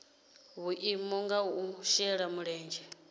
vhuimo ha u shela mulenzhe